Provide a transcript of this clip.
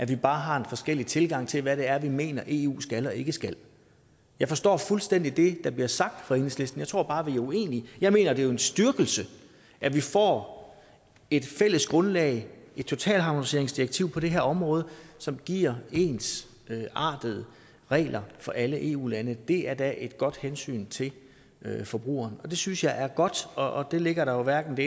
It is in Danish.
vi bare har en forskellig tilgang til hvad det er vi mener eu skal og ikke skal jeg forstår fuldstændig det der bliver sagt fra enhedslistens tror bare vi er uenige jeg mener jo det er en styrkelse at vi får et fælles grundlag et totalharmoniseringsdirektiv på det her område som giver ensartede regler for alle eu lande det er da et godt hensyn til forbrugeren det synes jeg er godt og det ligger der jo hverken det